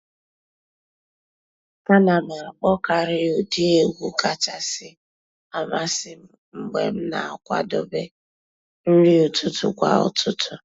A nà m àkpọ́kàrị́ ụ́dị́ ègwú kàchàsị́ àmásị́ m mg̀bé m nà-àkwàdébé nrí ụ́tụtụ́ kwà ụ́tụtụ́.